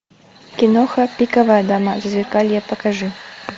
киноха пиковая дама зазеркалье покажи